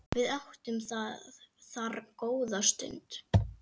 Við áttum þar góða stund.